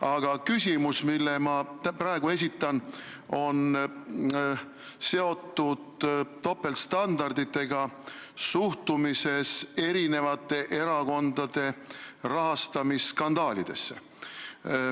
Aga küsimus, mille ma praegu esitan, on seotud topeltstandarditega suhtumises eri erakondade rahastamisskandaalidesse.